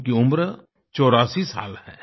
उनकी उम्र 84 साल है